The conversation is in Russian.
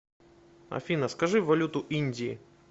афина скажи валюту индии